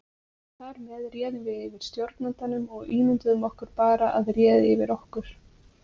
Þar með réðum við yfir stjórnandanum og ímynduðum okkur bara að réði yfir okkur.